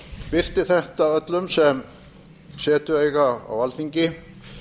birti þetta öllum sem setu eiga á alþingi